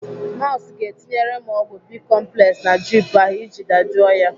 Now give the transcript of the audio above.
Nọọsụ ga-etinyere m ọgwụ bicomplex na drip ahụ iji dajụọ ya.